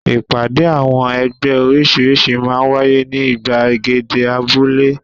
Ìpàdé àwọn ẹgbẹ́ oríṣiríṣi máa ń wáyé ní ìgbàgede abúlé.